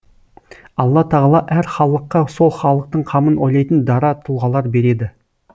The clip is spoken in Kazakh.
алла тағала әр халыққа сол халықтың қамын ойлайтын дара тұлғалар береді